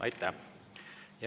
Aitäh!